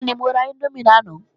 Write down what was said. Bẹ́ẹ̀ni, mo ra índómì lánàá